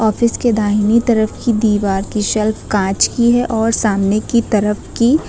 जिसके दाहिनी तरफ की दीवार की शेल्फ कांच की है और सामने की तरफ की--